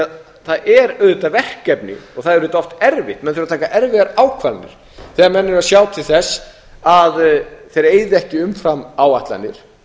því það er auðvitað verkefni og það er auðvitað oft erfitt menn þurfa að taka erfiðar ákvarðanir þegar menn eiga að sjá til þess að þeir eyði ekki umfram áætlanir